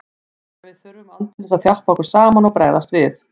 Þannig að við þurftum aldeilis að þjappa okkur saman og bregðast við.